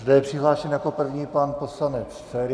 Zde je přihlášen jako první pan poslanec Feri.